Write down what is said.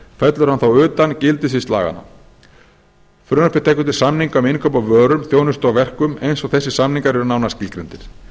fellur hann þá utan gildissvið laganna frumvarpið tekur til samninga um innkaup á vörum þjónustu og verkum eins og þessir samningar eru nánar skilgreindir